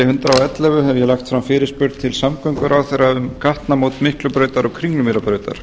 ellefu hef ég lagt fram fyrirspurn til samgönguráðherra um gatnamót miklubrautar og kringlumýrarbrautar